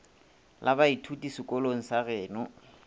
la baithuti sekolong sa geno